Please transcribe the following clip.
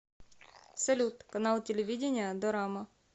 салют канал телевидения дорама